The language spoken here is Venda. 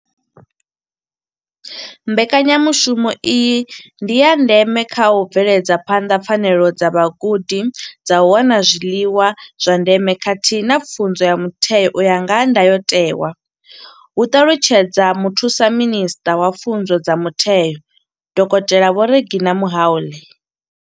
Mbekanyamushumo iyi ndi ya ndeme kha u bveledza phanḓa pfanelo dza vhagudi dza u wana zwiḽiwa zwa ndeme khathihi na pfunzo ya mutheo u ya nga ndayotewa hu ṱalutshedza muthusaminisṱa wa Pfunzo dza mutheo dokotela Vho Reginah Mhaule.